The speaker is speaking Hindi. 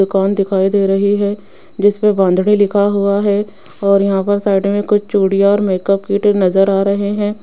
दुकान दिखाई दे रही है जिस पे बांधड़ी लिखा हुआ है और यहां पर साइड में कुछ चूड़ियां और मेकअप किट नजर आ रहे हैं।